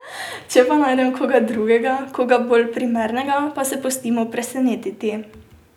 Če pa najdem koga drugega, koga bolj primernega, pa se pustimo presenetiti.